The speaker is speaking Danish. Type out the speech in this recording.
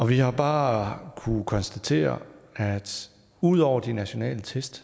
vi har bare kunnet konstatere at ud over de nationale test